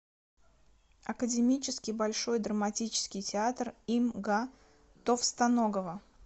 академический большой драматический театр им га товстоногова